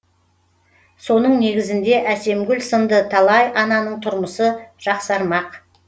соның негізінде әсемгүл сынды талай ананың тұрмысы жақсармақ